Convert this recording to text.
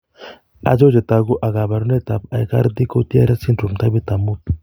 Achon chetogu ak kaborunoik ab Aicardi Goutieres syndrome taipit ab muut